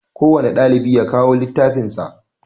Kowanne ɗalibi ya kawo littafin sa